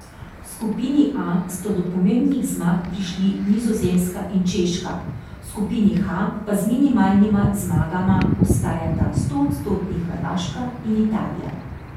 V skupini A sta do pomembnih zmag prišli Nizozemska in Češka, v skupini H pa z minimalnima zmagama ostajata stoodstotni Hrvaška in Italija.